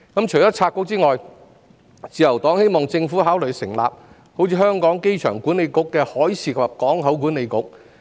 除拆局外，自由黨希望政府考慮成立類似香港機場管理局的海事及港口管理局。